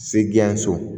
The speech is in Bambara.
Segu so